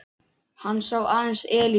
Hann sá aðeins Elísu.